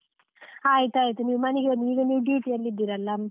ಆಯ್ತಾಯ್ತು, ನೀವು ಮನೆಗೆ ಬಂದು ಈಗ ನೀವು duty ಯಲ್ಲಿ ಇದ್ದೀರಲ್ಲ.